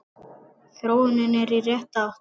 Þróunin er í rétta átt.